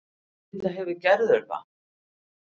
Auðvitað hefur Gerður það.